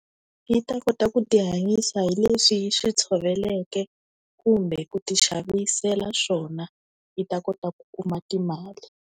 Yi ta kota ku tihanyisa hileswi yi swi tshoveleke kumbe ku ti xavisela swona yi ta kota ku kuma timali.